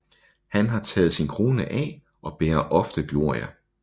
Han har taget sin krone af og bærer ofte glorie